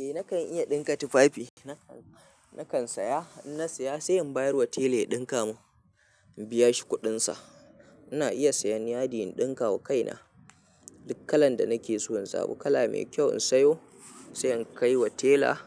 Eh nakan iya ɗinka tufafi, nakan saya in na saya sai in bayar wa tela ya ɗinka mun, in biya shi kuɗin sa. Ina iya sayan yadi in ɗinka wa kaina duk kalan da nake so, in zabo kala mai kyau in sayo, sai in kai wa tela,